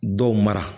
Dɔw mara